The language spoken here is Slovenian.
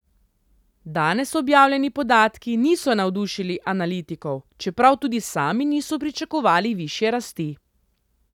Danes objavljeni podatki niso navdušili analitikov, čeprav tudi sami niso pričakovali višje rasti.